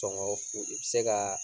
u bɛ se ka